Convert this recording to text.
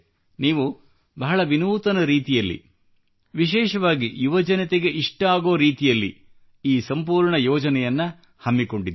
ನೀವು ಬಹಳ ವಿನೂತನ ರೀತಿಯಲ್ಲಿ ವಿಶೇಷವಾಗಿ ಯುವಜನತೆಗೆ ಇಷ್ಟವಾಗುವ ರೀತಿಯಲ್ಲಿ ಈ ಸಂಪೂರ್ಣ ಯೋಜನೆಯನ್ನು ಹಮ್ಮಿಕೊಂಡಿದ್ದೀರಿ